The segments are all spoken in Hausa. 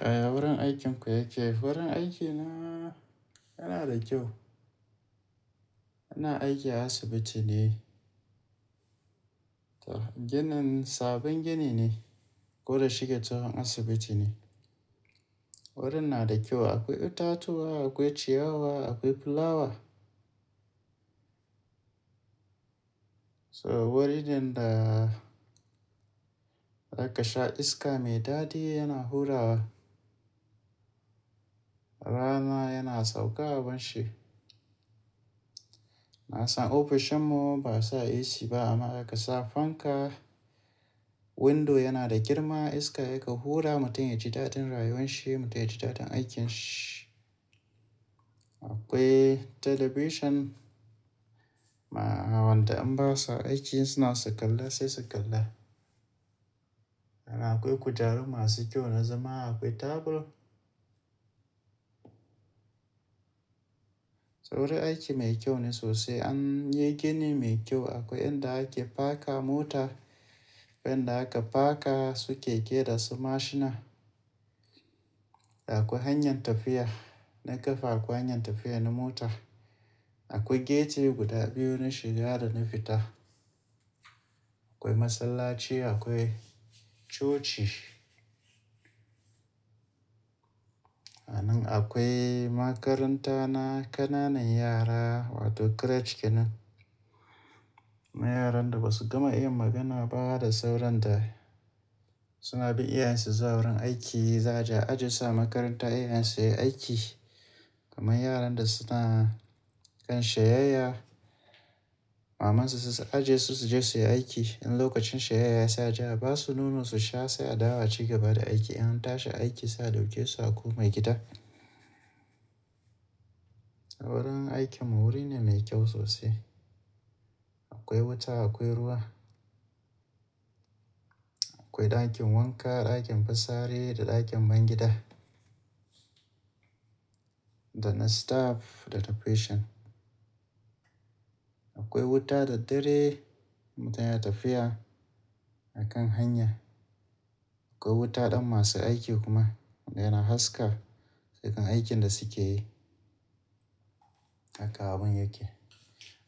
Yaya wurin aikinku yake? Wurin aikinmu yana da kyau. Ina aiki a asibiti ne. Ginin sabon gini ne, gwada shiga ta wurin asibiti ne. Wurin nada kyau akwai itatuwa akwai ciyawa akwai fulawa. So wurin da zaka sha iska mai dadi yana hurawa. Rana yana sauka abinshi. Na san ofishin mu ba sa AC ba amma idan ka sa fanka, window yana da girma iska yake hura mutum yaji dadin rayuwan shi, mutum yaji dadin aikinsa. Akwai television waɗanda in ba sa aiki suna sakalla sai sakalla. Ana akwai kujeru masu kyau na zama akwai tebur. Wurin aiki mai kyau ne sosai. An yi gini mai kyau akwai inda ake paka mota, akwai inda aka paka su keke da su mashina. Akwai hanyar tafiya na ƙafa akwai hanyar tafiya na mota. Akwai gate guda daya na wurin shiga da fita. Akwai masallaci akwai coci. Sannan akwai makaranta na ƙananan yara wato creche kenan. Na yaran da ba su gama yin magana ba da sauran da suna bin iyayensu zuwa wurin aiki. Za aje a aje su a makaranta iyayen su suyi aiki. Kaman yaran da suna kan shaye-shaye, maman su za su aje su su je su yi aiki. In lokacin shaye-shaye saa ja ba su nuno su sha sai a dawo a ci gaba da aiki. In an tashi aiki saa dauke su a komai gida. Wurin aikin mu wuri ne mai kyau sosai. Akwai wuta akwai ruwa. Akwai dakin wanka, dakin fisari da dakin bayan gida Dana staff da ta patient. Akwai wuta daddare mutum yana tafiya a kan hanya. Akwai wuta ɗan masu aiki kuma wanda yana haska cikin aikin da suke yi. Haka abin yake.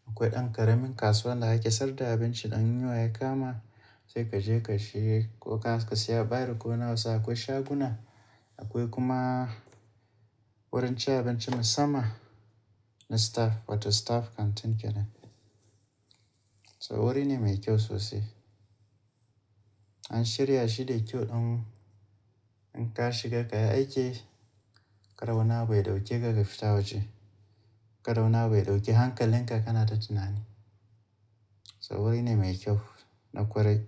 Akwai ɗan ƙaramin kasuwa da ake sayar da abinci ɗan yunwa ya kama sai ka je ka shiga. Ko ka siya ɓare ko nawa sai akwai shaguna. Akwai kuma wurin ci abinci musamman na staff wato staff canteen kenan. So wuri ne mai kyau sosai. An shirya shi da kyau ɗan in ka shiga ka yi aiki, kar wani abu ya dauke ka ga fita waje. Ka wani abu ya dauke hankaliinka kana ta tunani. So wuri ne mai kyau na kwarai.